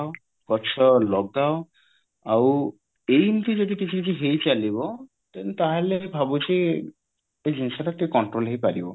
ଗଛ ଲଗାଅ ଆଉ ଏମିତି ଯଦି କିଛି କଛି ହେଇ ଚାଲିବ then ତାହାଲେ ମୁଁ ଭାବୁଛି ଏଇ ଜିନିଷଟା ଟିକେ control ହେଇ ପାରିବ